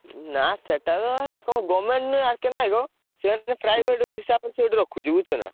ନା ସେଟା ତ କଣ government ନୁହଁ R.K. ନାୟକ ସେମତି ଗୋଟେ overap private ହିସାବରେ ସେ ଏଠି ରଖୁଛି ବୁଝୁଛନା?